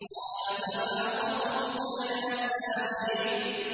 قَالَ فَمَا خَطْبُكَ يَا سَامِرِيُّ